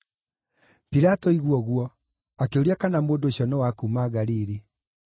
Pilato aigua ũguo, akĩũria kana mũndũ ũcio nĩ wa kuuma Galili.